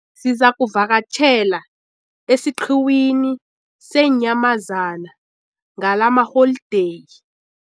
Sizakuvakatjhela esiqhiwini seenyamazana ngalamaholideyi.